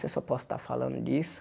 Se eu só posso estar falando disso.